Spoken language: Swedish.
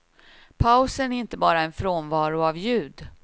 Pausen är inte bara en frånvaro av ljud.